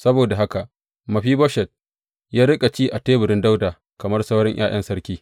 Saboda haka Mefiboshet ya riƙa ci a teburin Dawuda kamar sauran ’ya’yan sarki.